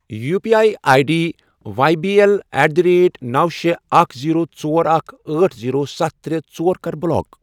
U P I I D Y B L at the rate نوَ، شے، اکھَ، زیٖرو، ژور، اکھَ، أٹھ، زیٖرو، ستھَ، ترے، ژۄر، کَر بلاک۔